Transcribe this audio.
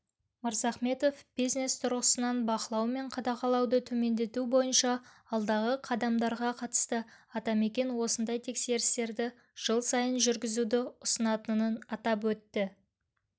мырзахметов бизнес тұрғысынан бақылау мен қадағалауды төмендету бойынша алдағы қадамдарға қатысты атамекен осындай тексерістерді жыл сайын жүргізуді ұсынатынын атап өтті